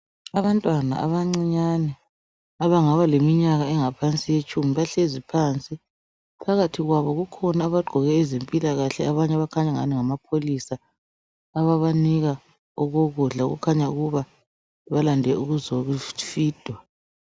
Abantwana abancinyane abangabaleminyaka engaphansi kwetshumi bahlezi phansi. Phakathi kwabo kukhona abagqoke owezempilakahle abanye abangani ngamapholisa ababanika okokudla okungani balande ukuzofida.